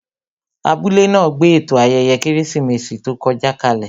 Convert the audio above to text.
Abúlé náà gbé ètò ayẹyẹ Kérésìmesì tó kọjá kalè